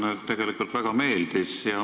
Mulle teie ettekanne väga meeldis.